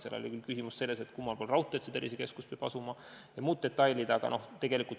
Seal oli küll küsimus ka selles, kummal pool raudteed peaks tervisekeskus asuma jms detailid.